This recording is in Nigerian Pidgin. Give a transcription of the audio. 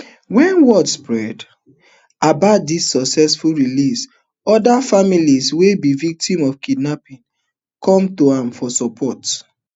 wen word spread about di successful release oda families wey be victims of kidnapping come to am for support